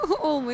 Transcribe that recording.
Olmayıb.